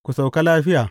Ku sauka lafiya.